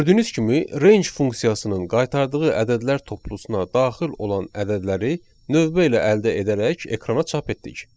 Gördüyünüz kimi, range funksiyasının qaytardığı ədədlər toplusuna daxil olan ədədləri növbə ilə əldə edərək ekrana çap etdik.